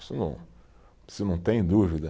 não tem dúvida.